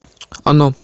оно